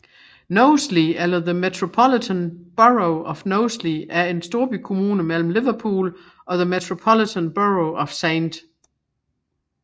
Knowsley eller The Metropolitan Borough of Knowsley er en storbykommune mellem Liverpool og The Metropolitan Borough of St